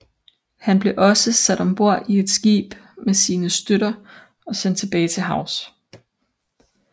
Han blev også sat ombord i et skib med sine støtter og sendt tilbage til havs